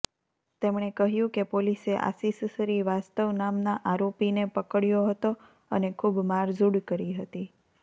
તેમણે કહ્યું કે પોલીસે આશિષ શ્રીવાસ્તવ નામના આરોપીને પકડ્યો હતો અને ખૂબ મારઝૂડ કરી હતી